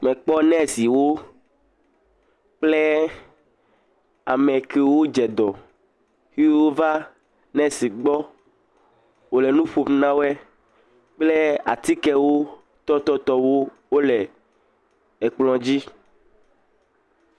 Mekpɔ nɛsiwo kple ame kewo dze dɔ xe wova, nesi gbɔ wò le nu ƒom na wɔe, kple atikewo tɔ tɔtɔwo, wole ekplɔ dzi.